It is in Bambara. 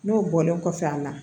N'o bɔlen kɔfɛ a bɛna na